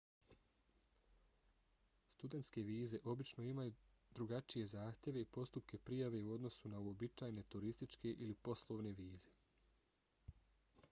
studentske vize obično imaju drugačije zahtjeve i postupke prijave u odnosu na uobičajene turističke ili poslovne vize